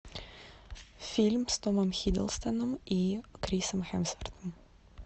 фильм с томом хиддлстоном и крисом хемсвортом